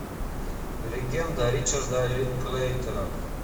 легенда ричарда линклейтера